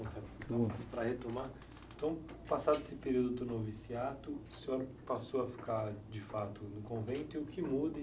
Para retomar, então, passado esse período do noviciato, o senhor passou a ficar, de fato, no convento, e o que muda?